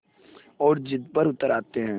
और ज़िद पर उतर आते हैं